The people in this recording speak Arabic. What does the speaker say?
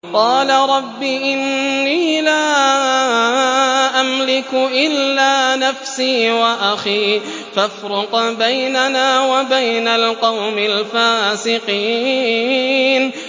قَالَ رَبِّ إِنِّي لَا أَمْلِكُ إِلَّا نَفْسِي وَأَخِي ۖ فَافْرُقْ بَيْنَنَا وَبَيْنَ الْقَوْمِ الْفَاسِقِينَ